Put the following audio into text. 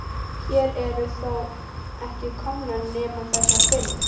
Hér eru þó ekki komnar nema þessar fimm.